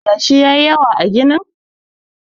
yashi ya yi yawa a gini?